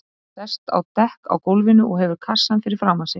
Hann sest á dekk á gólfinu og hefur kassann fyrir framan sig.